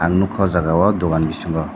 ang nukha oh jagao dukan bisingo.